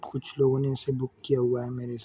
कुछ लोग ने इसे बुक किया हुआ है मेरे हि--